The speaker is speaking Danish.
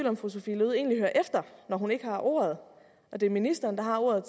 om fru sophie løhde egentlig hører efter når hun ikke har ordet og det er ministeren der har ordet